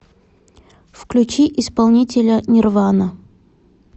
включи исполнителя нирвана